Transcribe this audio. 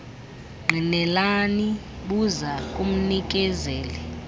ngqinelani buza kumnikezeli